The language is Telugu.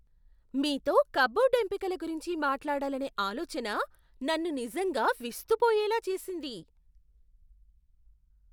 మీతో కప్బోర్డ్ ఎంపికల గురించి మాట్లాడాలనే ఆలోచన నన్ను నిజంగా విస్తుపోయేలా చేసింది.